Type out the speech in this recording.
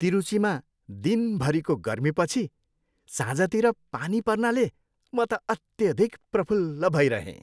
तिरुचीमा दिनभरीको गर्मीपछि साँझतिर पानी पर्नाले म त अत्याधिक प्रफुल्ल भइरहेँ।